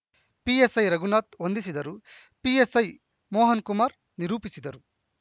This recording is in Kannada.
ಪಿಎಸ್‌ಐ ರಘುನಾಥ ವಂದಿಸಿದರು ಪಿಎಸ್‌ಐ ಮೋಹನ್‌ಕುಮಾರ್‌ ನಿರೂಪಿಸಿದರು